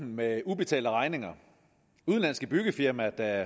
med ubetalte regninger udenlandske byggefirmaer der